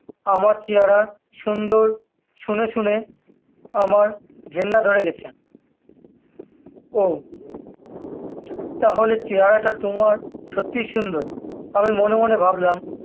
আমার চেহারা সুন্দর শুনে শুনে আমার ঘেন্না ধরে গেছে ও তাহলে চেহারা টা তোমার সত্যি সুন্দর আমি মনে মনে ভাবলাম